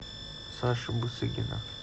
саши бусыгина